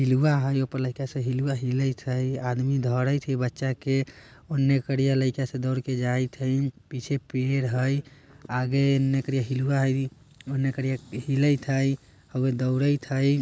हिलबा है ऑपले ऐसे हिलबा हिलाइत है। आदमी दौड़त है बच्चा के ऑने कड़िया लइका दौड़ के जाइत है। पीछे पेड़ है आगे नकरे हिलबा है नकरे हिलयत है आउगे दौड़त है।